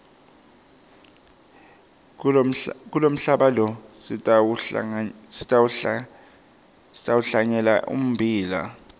kulomhlaba lo sitawuhlanyela ummbila